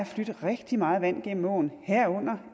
flydt rigtig meget vand gennem åen herunder